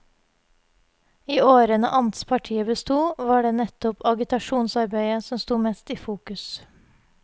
I årene amtspartiet bestod, var det nettopp agitasjonsarbeidet som stod mest i fokus.